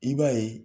I b'a ye